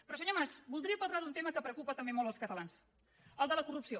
però senyor mas voldria parlar d’un tema que preocupa també molt els catalans el de la corrupció